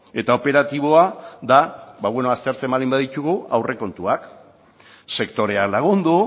eta operatiboa da aztertzen baldin baditugu aurrekontuak sektorea lagundu